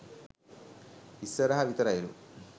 ඉස්සරහ විතරයිලු.